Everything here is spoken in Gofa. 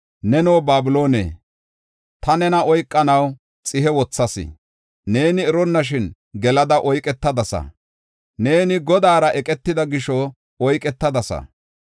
Neno, Babiloone, ta nena oykanaw xihe wothas; neeni eronnashin gelada oyketadasa. Neeni Godaara eqetida gisho oyketadasa.